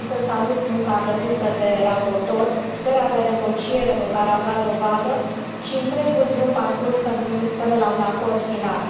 Vreau să salut munca depusă de raportori, puterea de negociere de care au dat dovadă și întregul drum parcurs până la un acord final.